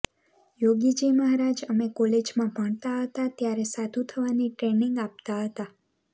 યોગીજી મહારાજ અમે કોલેજમાં ભણતા હતાં ત્યારે સાધુ થવાની ટ્રેનિંગ આપતાં હતાં